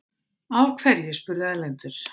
Af hverju? spurði Erlendur.